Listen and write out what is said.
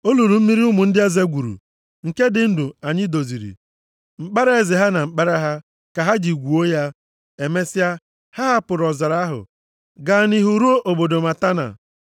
Olulu mmiri ụmụ ndị eze gwuru nke ndị ndu anyị doziri. Mkpara eze ha na mkpara ha, ka ha ji gwuo ya.” Emesịa, ha hapụrụ ọzara ahụ, gaa nʼihu ruo nʼobodo Matana.